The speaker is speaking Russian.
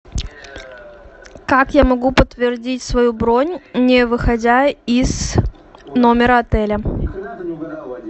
как я могу подтвердить свою бронь не выходя из номера отеля